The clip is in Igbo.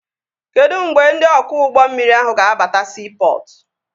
Kedụ mgbe ndị ọkwọ ụgbọ mmiri ahụ ga-abata siipọtụ?